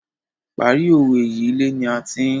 Parí owé yìí, ilé ni a ti ń........